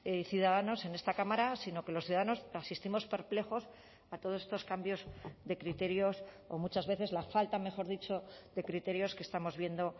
y ciudadanos en esta cámara sino que los ciudadanos asistimos perplejos a todos estos cambios de criterios o muchas veces la falta mejor dicho de criterios que estamos viendo